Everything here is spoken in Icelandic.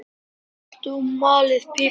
Saltið og malið pipar yfir.